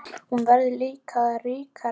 Hér verður líka að ríkja réttlæti.